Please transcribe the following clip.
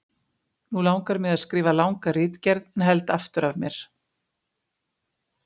Nú langar mig að skrifa langa ritgerð en held aftur af mér.